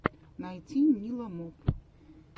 найти ниламоп